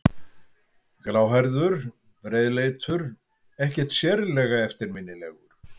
Gráhærður, breiðleitur, ekkert sérlega eftirminnilegur.